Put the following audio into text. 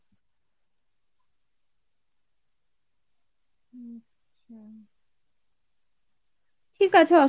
ঠিক আছে